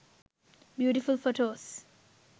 beautiful photos